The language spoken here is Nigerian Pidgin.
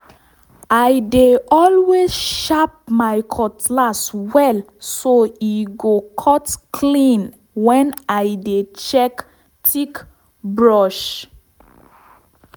i dey always sharp my cutlass well so e go cut clean when i dey check thick brush